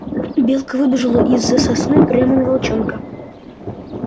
белка выбежала из-за сосны прямо на волчонка